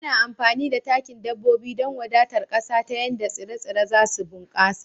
Ana amfani da takin dabbobi don wadatar ƙasa ta yadda tsire-tsire za su bunkasa